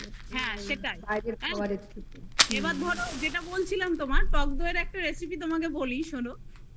হ্যা এইবার ধরো যেটা বলছিলাম তোমায় টকদই এর একটা recipe তোমায় বলি শোনো